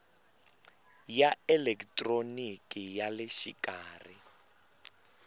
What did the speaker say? ya elekitroniki ya le xikarhi